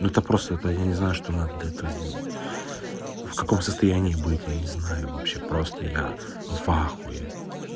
это просто это я не знаю что надо для этого сделать в каком состоянии быть я не знаю вообще просто я в ахуе